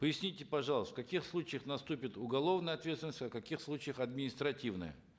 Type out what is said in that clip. поясните пожалуйста в каких случаях наступит уголовная ответственность а в каких случаях административная